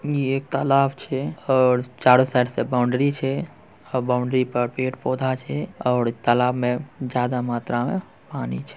ये एक तालाब छै और चारों साइड से बाउंड्री छै और बाउंड्री पर पेड़-पौधा छै और तालाब में ज्यादा मात्रा में पानी छै।